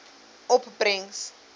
opbrengs